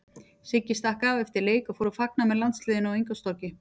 Siggi stakk af eftir leik og fór að fagna með landsliðinu á Ingólfstorgi.